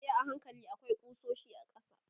yi a hankali akwai kusoshi a ƙasa